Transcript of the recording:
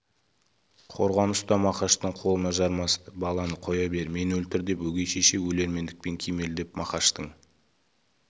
қорған ұста мақаштың қолына жармасты баланы қоя бер мені өлтір деп өгей шеше өлермендікпен кимелеп мақаштың